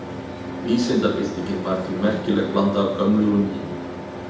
Vísindabyltingin var því merkileg blanda af gömlu og nýju.